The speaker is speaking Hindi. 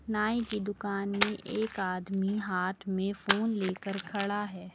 नाई की दुकान में एक आदमी हाथ में फोन लेकर खड़ा है।